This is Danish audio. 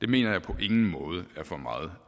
mener jeg på ingen måde er for meget